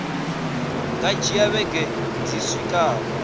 nga dzhia vhege dzi swikaho